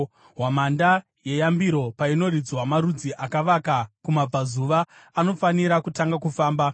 Hwamanda yeyambiro painoridzwa marudzi akavaka kumabvazuva anofanira kutanga kufamba.